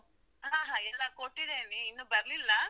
ಹ ಹಾ ಎಲ್ಲ ಕೊಟ್ಟಿದಿನಿ ಇನ್ನು ಬರ್ಲಿಲ್ಲ.